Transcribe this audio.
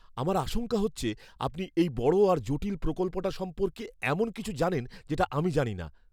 আমার আশঙ্কা হচ্ছে আপনি এই বড় আর জটিল প্রকল্পটা সম্পর্কে এমন কিছু জানেন যেটা আমি জানি না।